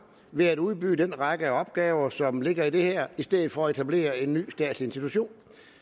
ved at udbyde den række af opgaver som ligger i det her i stedet for at etablere en ny statslig institution